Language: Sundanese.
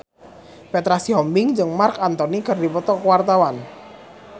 Petra Sihombing jeung Marc Anthony keur dipoto ku wartawan